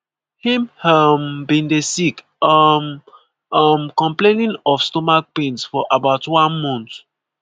"im um bin dey sick um um complaining of stomach pains for about one month.